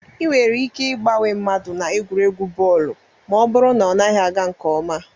Ị nwere ike ịgbanwe mmadụ na egwuregwu bọọlụ ma ọ bụrụ na ọ naghị aga nke ọma